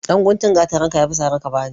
Ɗan guntun gatarinka ya fi sare ka bani.